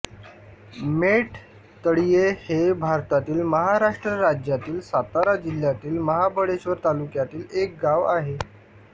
मेट तळीये हे भारतातील महाराष्ट्र राज्यातील सातारा जिल्ह्यातील महाबळेश्वर तालुक्यातील एक गाव आहे